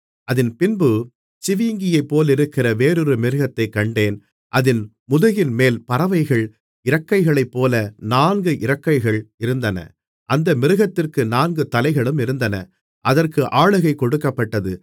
அதின்பின்பு சிவிங்கியைப்போலிருக்கிற வேறொரு மிருகத்தைக் கண்டேன் அதின் முதுகின்மேல் பறவையின் இறக்கைகளைப்போல நான்கு இறக்கைகள் இருந்தன அந்த மிருகத்திற்கு நான்கு தலைகளும் இருந்தன அதற்கு ஆளுகை கொடுக்கப்பட்டது